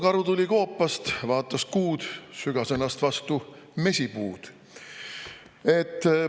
No karu tuli koopast, vaatas kuud, sügas ennast vastu mesipuud.